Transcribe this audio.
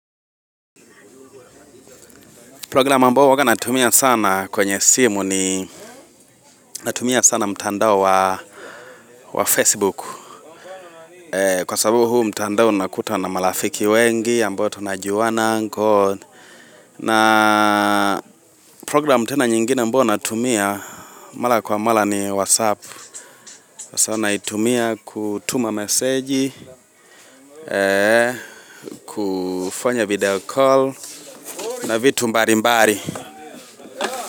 Program ambayo huwanga natumia sana kwenye simu ni Natumia sana mtandao wa wa facebook Kwa sababu huu mtandao unakuta na marafiki wengi ambao tunajuana na program tena nyingine ambao natumia mara kwa mara ni whatsapp Kwa sana naitumia kutuma meseji kufanya video call na vitu mbali mbali.